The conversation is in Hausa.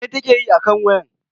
Mene ta ke yi akan wayan?